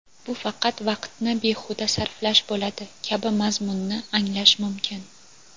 bu faqat vaqtni behuda sarflash bo‘ladi kabi mazmunni anglash mumkin.